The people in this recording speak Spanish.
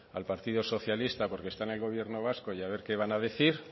al partido socialista porque está en el gobierno vasco y a ver qué van a decir